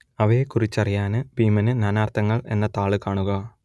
അവയെക്കുറിച്ചറിയാന് ഭീമൻ നാനാർത്ഥങ്ങൾ എന്ന താൾ കാണുക